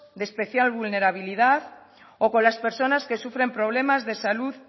de especial vulnerabilidad o con las personas que sufren problemas de salud